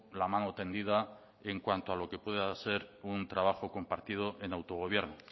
la mano tendida en cuanto a lo que pueda ser un trabajo compartido en autogobierno